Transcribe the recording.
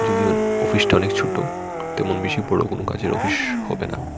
যদিও অফিসটা অনেক ছোট তেমন বেশি বড় কোনো কাজের অফিস হবে না।